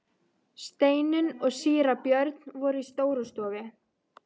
Steinunn og síra Björn voru í Stórustofu.